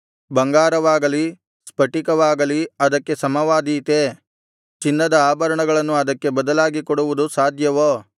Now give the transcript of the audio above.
ಬಂಗಾರವಾಗಲಿ ಸ್ಫಟಿಕವಾಗಲಿ ಅದಕ್ಕೆ ಸಮವಾದೀತೇ ಚಿನ್ನದ ಆಭರಣಗಳನ್ನು ಅದಕ್ಕೆ ಬದಲಾಗಿಕೊಡುವುದು ಸಾಧ್ಯವೋ